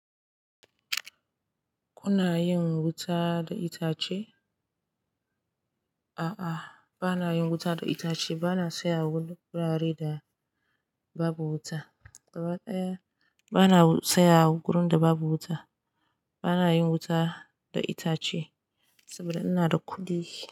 Kuna yin wuta da itace? A'a, ba na yin wuta da itace. Ba na saya wurare da babu wuta. Gabadaya bana na saya gurin da babu wuta. Ba na yin wuta da itace saboda ina da kuɗi.